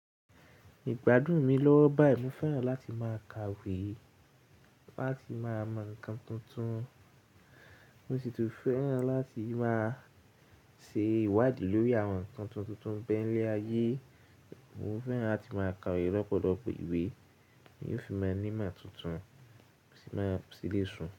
Ìgbádùn mi lọ́wọ́ báyìí, mo fẹ́ràn láti máa ka ìwé láti máa mọ ǹkan tuntun. Mo sì tún fẹ́ràn láti máa ṣe ìwádìí lórí àwọn ǹkan tuntun tuntun bẹ́ẹ̀ níle ayé. Mo fẹ́ràn láti máa kawe lọ́pọ̀dọ̀pọ̀ ìwé, èyí ó fi máa ní ìmọ̀ tuntun, ó sì máa ṣílé ṣùn.